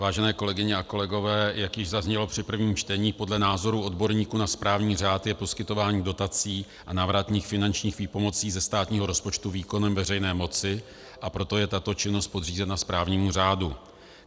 Vážené kolegyně a kolegové, jak již zaznělo při prvém čtení, podle názorů odborníků na správní řád je poskytování dotací a návratných finančních výpomocí ze státního rozpočtu výkonem veřejné moci, a proto je tato činnost podřízena správnímu řádu.